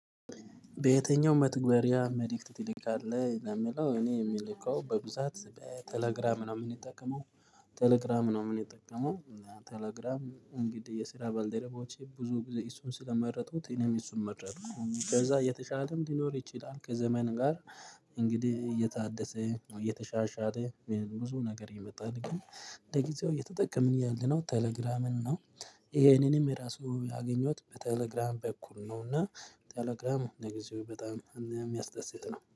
በየትኛውም መትገሪያ መልእክት ትልካለህ ለሚለው እኔ የምልከው በብዛት በቴሌግራም ነው የምንጠቀመው ቴሌግራም ነው የምንጠቀመው። ቴሌግራም እንግዲህ የስራ ባልደረባዎቼ ብዙ ጊዜ እሱን ስለመረጡት እኔም እሱን መረጥኩ ከዛ የተቻለም ሊኖር ይችላል ከዘመን ጋር። እንግዲህ እየታደሰ ነው እየተሻሻለ ብዙ ነገር ይመጣልኝ ግን ለጊዜው እየተጠቀምን ያለነው ቴሌግራምን ነው። ይሄንንም የራሱ ያገኘሁት በቴሌግራም በኩል ነው። እና ቴሌግራም ለጊዜው በጣም እንደሚያስደስት ነው